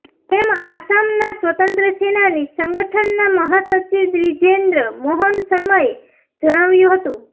તેમ આસામના સ્વતંત્ર સેનાની સંગઠનના મહાસચિવ દ્વીજેન્દ્ર મોહન શર્માએ જણાવ્યું હતું